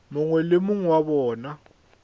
mongwe le mongwe wa bona